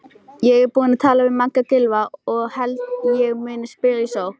Ég er búinn að tala við Magga Gylfa og held ég muni spila í sókn.